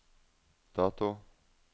dato